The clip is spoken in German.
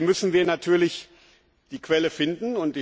Trotzdem müssen wir natürlich die Quelle finden.